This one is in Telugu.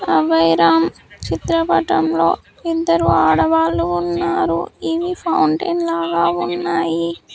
అభయరామ్ చిత్ర పటం లో ఇద్దరు ఆడవాళ్లు ఉన్నారు ఇవి ఫౌంటెన్ లాగా ఉన్నాయి.